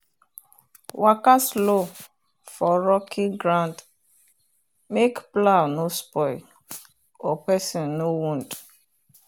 waka slow for rocky ground make plow no spoil or person no wound.